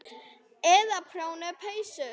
Eða prjóna peysur.